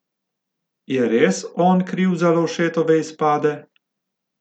Je res on kriv za Lovšetove izpade?